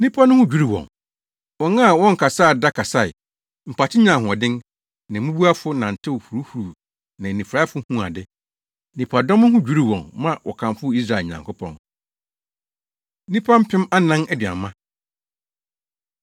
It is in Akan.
Nnipa no ho dwiriw wɔn. Wɔn a wɔnkasaa da kasae; mpakye nyaa ahoɔden; na mmubuafo nantew huruhuruwii na anifuraefo huu ade. Nnipadɔm no ho dwiriw wɔn ma wɔkamfoo Israel Nyankopɔn. Nnipa Mpem Anan Aduanma